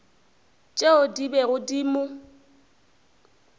tšeo di bego di mo